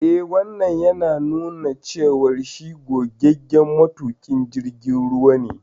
Eh, Wannan yana nuna cewa shi gogaggen matuƙin jirgin ruwa ne.